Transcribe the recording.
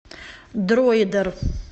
дроидер